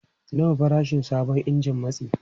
Nawa farashin sabon injin matsi?